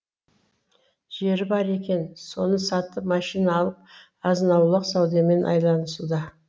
жері бар екен соны сатып машина алып азын аулақ саудамен айланысуда